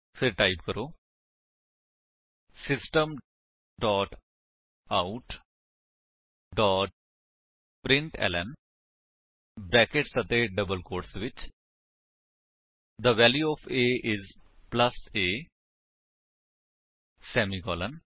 ਫਿਰ ਟਾਈਪ ਕਰੋ system dot out dot println brackets ਅਤੇ ਡਬਲ ਕੋਟਸ ਵਿੱਚ the value of a is plus a semicolon